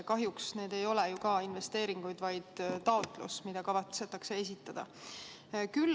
Kahjuks need ei ole ju investeeringud, vaid tegemist on taotlusega, mis kavatsetakse esitada.